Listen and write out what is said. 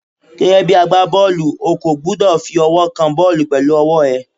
Gẹ́gẹ́ bí agbá bọ́ọ̀lù, o kò gbúdọ̀ fi ọwọ́ kan bọ́ọ̀lù pẹ̀lú ọwọ́ ẹ.